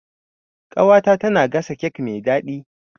Ƙawata tana gasa kek mai daɗi.